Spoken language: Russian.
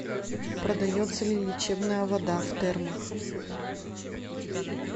продается ли лечебная вода в термах